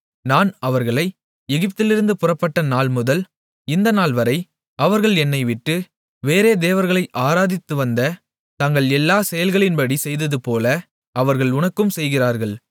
நான் அவர்களை எகிப்திலிருந்து புறப்பட்ட நாள்முதல் இந்த நாள்வரை அவர்கள் என்னைவிட்டு வேறே தேவர்களை ஆராதித்துவந்த தங்கள் எல்லாச் செயல்களின்படி செய்ததுபோல அவர்கள் உனக்கும் செய்கிறார்கள்